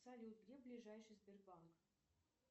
салют где ближайший сбербанк